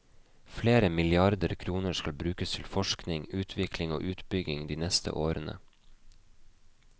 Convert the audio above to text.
Flere milliarder kroner skal brukes til forskning, utvikling og utbygging de neste årene.